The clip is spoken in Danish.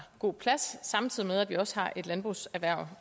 god plads samtidig med at vi også har et landbrugserhverv